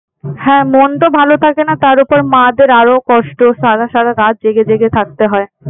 হ্যাঁ মন তো ভাল থাকেনা তার উপর মা-দের আরো কষ্ট সাথে সারা রাত জেগে জেগে থাকতে হয়।